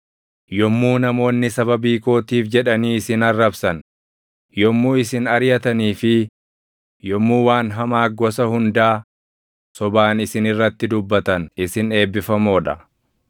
“Yommuu namoonni sababii kootiif jedhanii isin arrabsan, yommuu isin ariʼatanii fi yommuu waan hamaa gosa hundaa sobaan isin irratti dubbatan isin eebbifamoo dha.